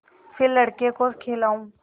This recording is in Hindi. फिर लड़के को खेलाऊँ